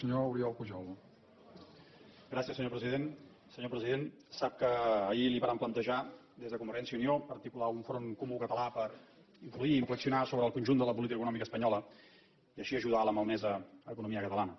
senyor president sap que ahir li vàrem plantejar des de convergència i unió articular un front comú català per influir inflexionar sobre el conjunt de la política econòmica espanyola i així ajudar la malmesa economia catalana